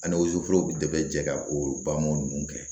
Ani wosoforo bɛ jɛ ka o baamu ninnu kɛ